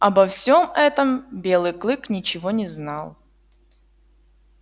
обо всём этом белый клык ничего не знал